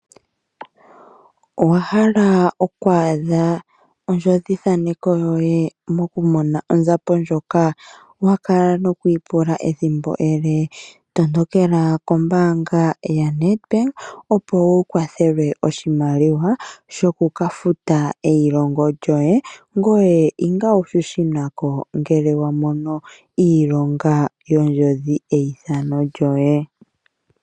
Owa hala okwaadha ondjodhi thaneko yoye mokumona onzapo yoye ndjono wakala noku ipula ehimbo alihe. Tondokelq kombaanga yonedbank opo upewe oshimaliwa shokufuta eilongo lyoe, ngoye to fut ngele wa mono iilonga yeithqno lyoe